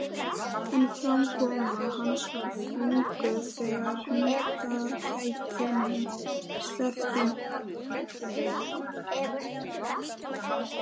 En framkoma hans var þvinguð þegar hundakætinni sleppti.